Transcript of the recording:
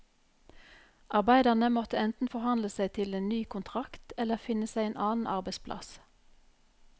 Arbeiderne måtte enten forhandle seg til en ny kontrakt, eller finne seg en annen arbeidplass.